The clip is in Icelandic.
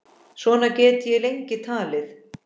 Svona get ég lengi talið.